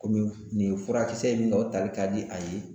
Komi nin furakisɛ in dɔ tali ka di a ye